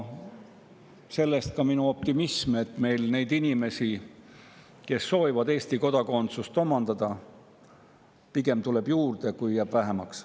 Sellest ka minu optimism, et neid inimesi, kes soovivad Eesti kodakondsust omandada, tuleb pigem juurde, mitte ei jää vähemaks.